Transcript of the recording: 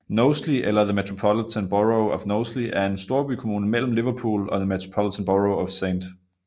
Knowsley eller The Metropolitan Borough of Knowsley er en storbykommune mellem Liverpool og The Metropolitan Borough of St